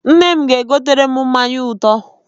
Nne m ga-egotere m mmanya ụtọ.